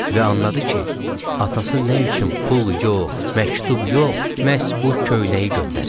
Və anladı ki, atası nə üçün pul yox, məktub yox, məhz bu köynəyi göndərib.